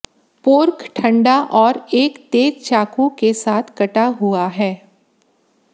pork ठंडा और एक तेज चाकू के साथ कटा हुआ है